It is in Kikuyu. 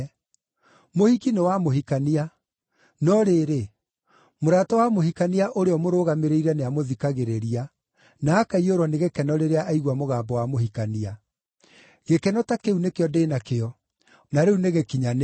Mũhiki nĩ wa mũhikania. No rĩrĩ, mũrata wa mũhikania ũrĩa ũmũrũgamĩrĩire nĩamũthikagĩrĩria, na akaiyũrwo nĩ gĩkeno rĩrĩa aigua mũgambo wa mũhikania. Gĩkeno ta kĩu nĩkĩo ndĩ na kĩo, na rĩu nĩgĩkinyanĩru.